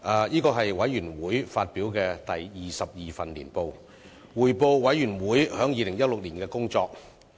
這是委員會發表的第二十二份年報，匯報委員會在2016年的工作。